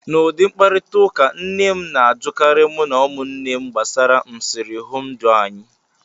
N' ụdị mkparịtaụka, nne m na-ajụkarị mụ na ụmụnne m gbasara nsirihụndụ anyị